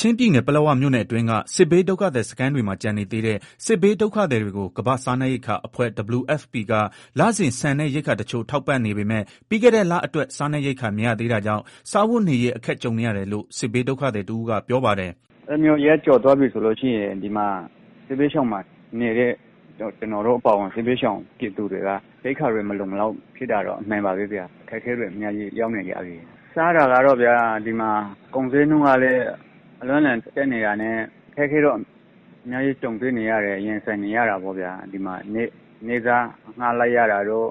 ချင်းပြည်နယ် ပလက်ဝမြို့နယ်အတွင်းက စစ်ဘေးဒုက္ခသည်စခန်းတွေမှာ ကျန်နေသေးတဲ့ စစ်ဘေးဒုက္ခသည်တွေကို ကမ္ဘာ့စားနပ်ရိက္ခာအဖွဲ့ WFP က လစဉ် ဆန်နဲ့ ရိက္ခာတချို့ ထောက်ပံ့နေပေမဲ့ ပြီးခဲ့တဲ့ လအတွက် စားနပ်ရိက္ခာမရသေးတာကြောင့် စားဝတ်နေရေး အခက်ကြုံနေရတယ်လို့ စစ်ဘေးဒုက္ခသည်တဦးကပြောပါတယ်။ “အဲလိုမျိုး ရက်ကျော်သွားပြီဆိုလို့ရှိရင် စစ်ဘေးဒုက္ခသည်စခန်းမှာနေတဲ့ ကျနော်တို့ အပါအဝင် စစ်ဘေးဒုက္ခသည်တွေက ရိက္ခာတွေမလုံမလောက်ဖြစ်တာတော့ အမှန်ပါပဲ ဗျာ၊ အခက်အခဲတွေ အများကြီးရောက်နေကြပြီ၊ စားတာကတော့ဗျာ ဒီမှာ ကုန်ဈေးနှုန်းကလည်း အလွန့်အလွန်တက်နေတာနဲ့ အခက်အခဲတွေနဲ့ ရင်ဆိုင်နေရတာပေါ့ဗျာ၊ နေ့စားအငှား လိုက်ရတာတို့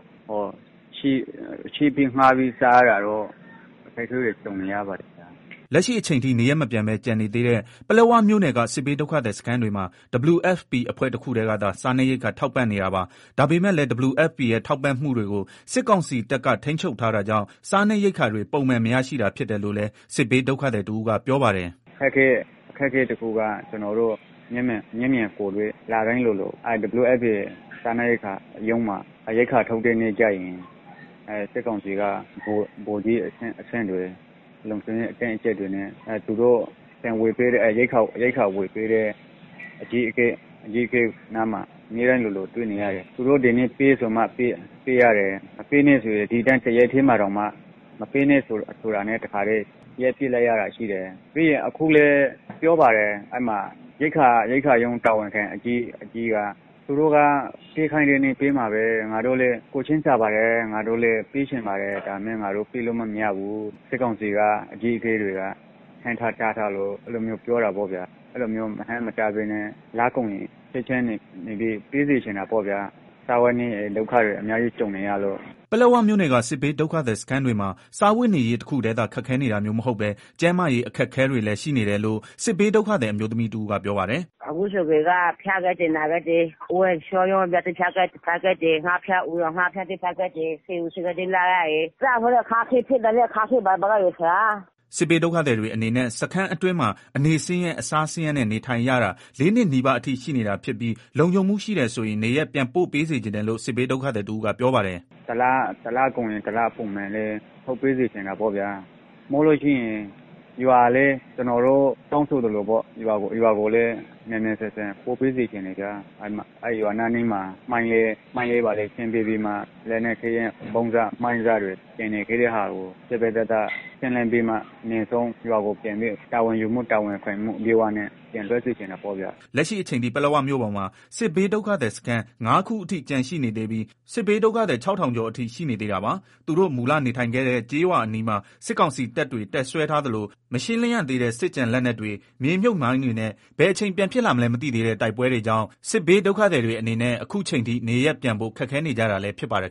ချေးငှားပြီးစားရတာတို့ အခက်အခဲတွေ ကြုံနေရပါတယ်။” လက်ရှိအချိန်ထိ နေရပ်မပြန်ပဲ ကျန်နေသေးတဲ့ ပလက်ဝမြို့နယ်က စစ်ဘေးဒုက္ခသည် စခန်းတွေမှာ WFPအဖွဲ့တခုတည်းကသာ စားနပ်ရိက္ခာထောက်ပံ့နေတာပါ။ ဒါပေမယ့်လည်း WFPရဲ့ ထောက်ပံ့မှုကိုတွေကို စစ်ကောင်စီတပ်က ထိန်းချုပ်ထားတာကြောင့် စားနပ်ရိက္ခာ တွေ ပုံမှန်မရရှိတာဖြစ်တယ်လို့လည်း စစ်ဘေးဒုက္ခသည်တဦးကပြောပါတယ်။ “ အခက်အခဲတခုကတော့ ကျနော်တို့ လတိုင်းလိုလို WFP ရုံးမှာ ရိက္ခာထုတ်တဲ့အခါကျရင် စစ်ကောင်စီက ဗိုလ်ကြီးအဆင့်တွေ လုံခြုံရေး အတင်းအကြပ်တွေနဲ့ ရိက္ခာဝယ်ပေးတဲ့ အကြီးအကဲနားမှာ၊ အမြဲတမ်းလိုလို တွေ့နေရတယ်၊ သူတို့ကဒီနေ့ ပေးဆိုမှ ပေးရတယ် မပေးနဲ့ တော့ ဆိုရင် ပေးနေတဲ့ ဟာကို ရပ်လိုက်ရတယ်၊ အခုလည်း ပြောပါတယ် ရိက္ခာရုံး တာဝန်ခံ အကြီးက သူတို့က ပေးခိုင်းတဲ့နေ့ပေးမှာပဲ ငါတို့လည်းကိုယ်ချင်းစာပါတယ်၊ ပေးချင်ပါတယ် ဒါပေမယ့် ငါတို့ ပေးလို့မရဘူး၊ စစ်ကောင်စီအကြီးအကဲတွေက ဟန့်ထား တားထားလို့ အဲလို မျိုးပြောတယ်။ အဲလိုမျိုးမဟန့်မတားပဲနဲ့ ပေးစေချင်တာပေါ့ဗျာ စားဝတ်နေရေး ဒုက္ခကြုံနေရတယ်။” ပလက်ဝမြို့နယ်က စစ်ဘေးဒုက္ခသည်စခန်းတွေမှာ စားဝတ်နေရေးတခုတည်းသာ ခက်ခဲနေတာမျိုးမဟုတ်ပဲကျန်းမာရေးအခက်အခဲတွေလည်း ရှိနေတယ်လို့လည်း စစ်ဘေးဒုက္ခသည်အမျိုးသမီးတဦးကပြောပါတယ်။ “ အခုဆိုရင် ဖျားကြတယ်၊ နာကြတယ် ဝမ်းပျက်ဝမ်းလျောတွေ ဖြစ်ကြတယ်၊ ငှက်ဖျား အူရောင်ငှက်ဖျားတွေ ဖြစ်ကြတယ်၊ ဆေးရုံးဆေးခန်းတွေ သွားရတယ် ပိုက်ဆံတွေလည်း မရှိဘူး၊ စားဝတ်နေရေးလည်း ခက်ခဲတယ်။” စစ်ဘေးဒုက္ခသည်တွေအနေနဲ့ စခန်းအတွင်းမှာ အနေဆင်းရဲ အစားဆင်းရေးနဲ့ နေထိုင်ရတာ ၄နှစ်နီးပါးအထိရှိနေတာဖြစ်ပြီးလုံခြုံမှုရှိတယ်ဆိုရင် နေရပ်ပြန်ပို့စေချင်တယ်လို့ စစ်ဘေးဒုက္ခသည်တဦးကပြောပါတယ်။ “ တလကုန်ရင် တလထုတ်ပေးစေချင်တာပေါ့ဗျာ၊ဒါမှမဟုတ် ကျနော်တို့ တောင်းဆိုသလို ရွာကိုလည်း မြန်မြန်ဆန်ဆန်ပို့ပေးစေချင်တယ်၊ ရွာအနီးမှာ မိုင်းတွေ ဘာတွေ ရှင်းပေးပြီး လက်နက်ခဲယမ်း မိုင်းစ ဗုံးစတွေ ကျန်နေခဲ့တဲ့ သေသေချာချာ ရှင်းလင်းပြီးမှ တာဝန်ယူမှုတာဝန်ခံမှု အပြည့်နဲ့ ပြန်လွတ်စေချင်တာပေါ့ဗျာ။” လက်ရှိအချိန်ထိ ပလက်ဝမြို့ပေါ်မှာ စစ်ဘေးဒုက္ခသည်စခန်း ၅ ခုအထိ ကျန်ရှိနေသေးပြီး စစ်ဘေးဒုက္ခသည် ၆ဝဝဝကျော်အထိရှိနေသေးတာပါ။သူတိုမူလနေထိုင်ခဲ့တဲ့ ကျေးရွာအနီးမှာ စစ်ကောင်စီတပ်တွေ တပ်စွဲထားသလို မရှင်းလင်းရသေးတဲ့ စစ်ကျန်လက်နက်တွေ မြေမြုပ် မိုင်းတွေနဲ့ ဘယ်အချိန် ပြန်ဖြစ်လာမလဲ မသိသေးတဲ့ တိုက်ပွဲတွေကြောင့် စစ်ဘေးဒုက္ခသည် တွေအနေနဲ့ အခုအချိန်ထိ နေရပ်ပြန်ဖို့ ခက်ခဲနေကြတာလည်းဖြစ်ပါတယ်